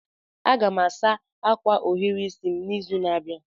Aga m asa akwa ohiri isi m n'izu na-abịa.